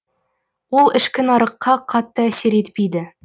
ол ішкі нарыққа қатты әсер етпейді